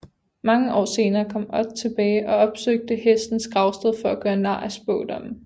Mange år senere kom Odd tilbage og opsøgte hestens gravsted for at gøre nar af spådommen